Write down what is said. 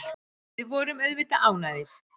Við vorum auðvitað ánægðir.